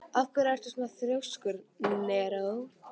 Af hverju ertu svona þrjóskur, Neró?